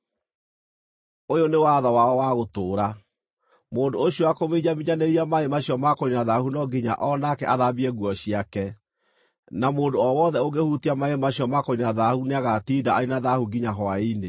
Ũyũ nĩ watho wao wa gũtũũra. “Mũndũ ũcio wakũminjaminjanĩria maaĩ macio ma kũniina thaahu no nginya o nake athambie nguo ciake, na mũndũ o wothe ũngĩhutia maaĩ macio ma kũniina thaahu nĩagatinda arĩ na thaahu nginya hwaĩ-inĩ.